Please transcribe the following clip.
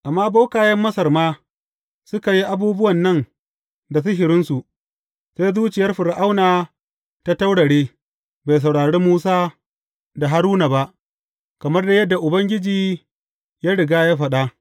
Amma bokayen Masar ma suka yi abubuwan nan da sihirinsu, sai zuciyar Fir’auna ta taurare; bai saurari Musa da Haruna ba, kamar dai yadda Ubangiji ya riga ya faɗa.